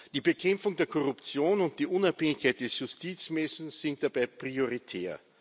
Die Bekämpfung der Korruption und die Unabhängigkeit des Justizwesens sind dabei prioritär.